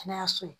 Kɛnɛyaso ye